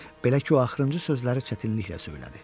Belə ki, o axırıncı sözləri çətinliklə söylədi.